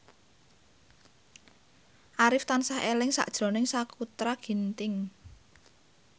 Arif tansah eling sakjroning Sakutra Ginting